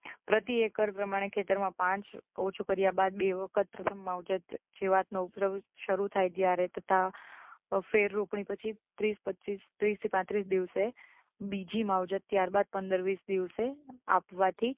પ્રતિ એકર પ્રમાણે ખેતરમાં પાંચ પાણી ઓછું કર્યા બાદ બે વખત માવજત જીવાતનો ઉપદ્રવ શરૂ થાય ત્યારે તથા ફેર રોપણી પછી ત્રીસ પચ્ચીસ ત્રીસ થી પાંત્રીસ દિવસે બીજી માવજત ત્યારબાદ પંદર વીસ દિવસે આપવાથી